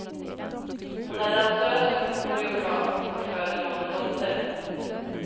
Hon är dansös och koreograf, och föder dem en dotter.